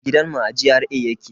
Gidan mu a GRA yake